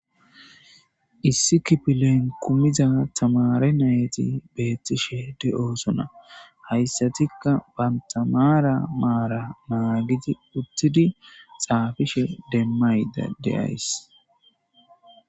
issi kifilen kumiza tamare nayati betiishshe de'osona hayssatikka banta maara maara naagidi uttidi xaafishshe demaydda de'ays